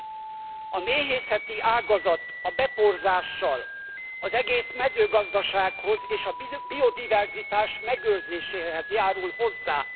A méhészeti ágazat a beporzással az egész mezőgazdasághoz és a biodiverzitás megőrzéséhez járul hozzá.